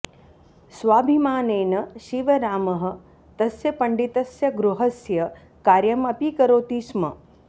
स्वाभिमानेन शिवरामः तस्य पण्डितस्य गृहस्य कार्यम् अपि करोति स्म